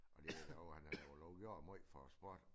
Og det jo dog han har jo dog gjort måj for æ sport